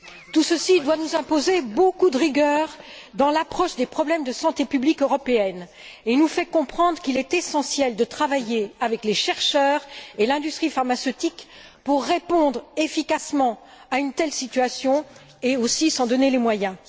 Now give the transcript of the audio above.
Tout ceci doit nous imposer beaucoup de rigueur dans l'approche des problèmes de santé publique européenne et nous fait comprendre qu'il est essentiel de travailler avec les chercheurs et l'industrie pharmaceutique pour répondre efficacement à une telle situation et aussi s'en donner les moyens.